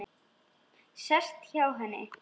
Sest hjá henni.